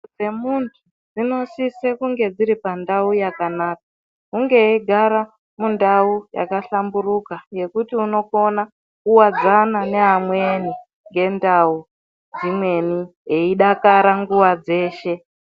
Dzemuntu dzinosise kunge dziri pandau yakanaka hunge eigara mundau yakahlamburuka yekuti unokona kuwadzana nevamweni ngendau dzimweni eidakara nguwa dzeshe.